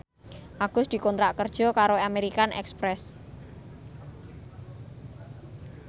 Agus dikontrak kerja karo American Express